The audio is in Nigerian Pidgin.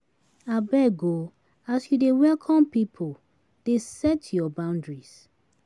Abeg o, as you dey welcome pipu, dey set your boundaries.